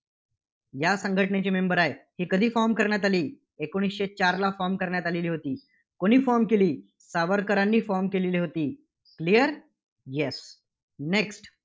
या संघटनेचे member आहेत. ही कधी Form करण्यात आली? एकोणीसशे चारला Form करण्यात आलेली होती. कुणी Form केली? सावरकरांनी Form केलेली होती. Clear? Yes. next